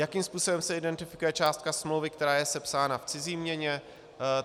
Jakým způsobem se identifikuje částka smlouvy, která je sepsána v cizí měně?